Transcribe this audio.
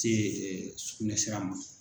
tɛ sugunɛsira ma.